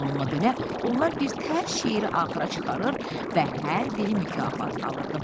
Bununla belə, onlar birtəhər şeiri axıra çıxarır və hər biri mükafat alırdı.